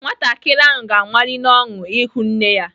Nwatakịrị ahụ ga-amali n'ọṅụ ịhụ nne ya.